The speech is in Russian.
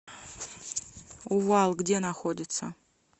увал где находится